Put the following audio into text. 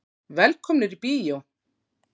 Velkomnir í bíó.